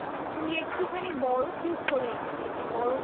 তুই একটুখানি বরফ use করা নিতে পারিস। বরফ